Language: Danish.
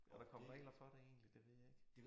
Er der kommet regler for det det ved jeg ikke